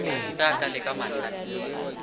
ge a ka leka mahlale